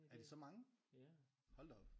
Er det så mange? Hold da op